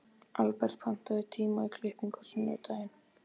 Albert, pantaðu tíma í klippingu á sunnudaginn.